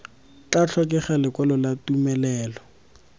tla tlhokega lekwalo la tumelelo